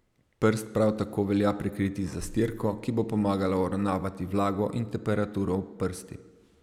Prst prav tako velja prekriti z zastirko, ki bo pomagala uravnavati vlago in temperaturo v prsti.